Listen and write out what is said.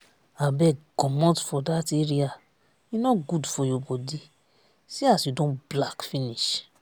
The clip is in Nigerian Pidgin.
abeg comot for dat area e no good for your body see as you don black finish